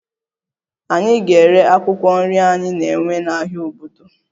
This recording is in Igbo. Anyị ga-ere akwụkwọ nri anyị na-ewe n'ahịa obodo